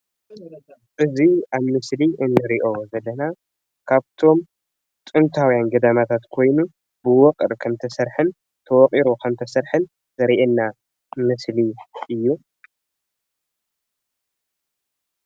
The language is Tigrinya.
እዚ ኣብ ምስሊ እንሪኦ ዘለና ካብቶም ጥንታውያን ገዳማታት ኮይኑ ብዉቅር ከም ዝተሰርሐን ተወቂሩ ከም ዝተሰርሐን ዘርእየና ምስሊ እዪ።